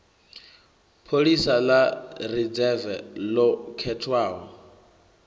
pholisa ḽa ridzeve ḽo khethwaho